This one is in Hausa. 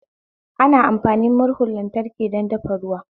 Ana amfani murhun lantraki don dafa ruwa